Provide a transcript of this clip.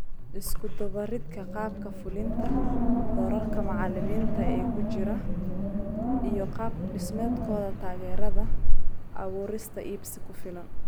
Isku-dubbaridka qaabka fulinta, doorarka macallimiinta ee ku jira, iyo qaab-dhismeedkooda taageerada) abuurista iibsi ku filan.